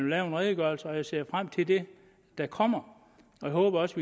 lave en redegørelse og jeg ser frem til det der kommer jeg håber også